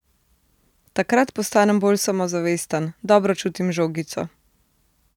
Takrat postanem bolj samozavesten, dobro čutim žogico ...